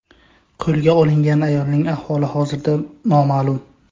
Qo‘lga olingan ayolning ahvoli hozirda noma’lum.